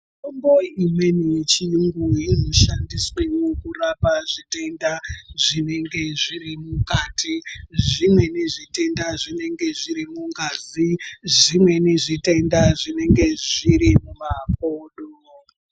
Mitombo imweni yechiyungu inoshandiswewo kurapa zvitenda zvinenge zviri mukati. Zvimweni zvitenda zvinenge zviri mungazi. Zvimweni zvitenda zvinenge zviri mumakodo.